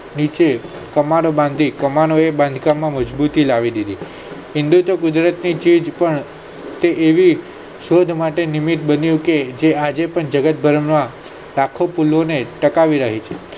નીચે કમનો બાંધી કમનો એ મકાનો બાંધકામ માં મજબૂતી લાવી દીધી હિન્દુત્વ તે એવી શોધ માટે નિમિત્ત બન્યું કે જે આજે પણ જગત ભર માં લાખો ફૂલો ને ટકાવી રાખી છે.